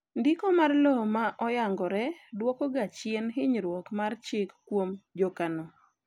ndiko mar lowo ma oyangre duoko ga chien hinyruok mar chik kuom jokano